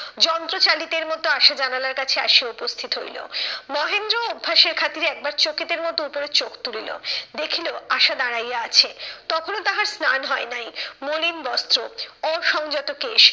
যন্ত্রচালিতের মতো আশা জানালার কাছে আসিয়া উপস্থিত হইলো। মহেন্দ্রও অভ্যাসের খাতিরে একবার চোকিতের মতো উপরে চোখ তুলিল, দেখিলো আশা দাঁড়াইয়া আছে। তখনও তাহার স্নান হয় নাই। মলিন বস্ত্র, অসংযত কেশ।